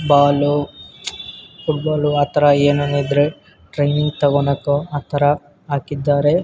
Balu football ಆತರ ಏನಾನೊ ಇದ್ರೆ ಟ್ರೈನಿಂಗ್ ತಗೊಳ್ಳಕ್ಕೆ ಆತರ ಹಾಕಿದ್ದಾರೆ .